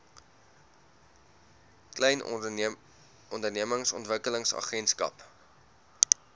klein ondernemings ontwikkelingsagentskap